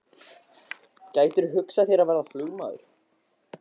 Hugrún Halldórsdóttir: Gætirðu hugsað þér að verða flugmaður?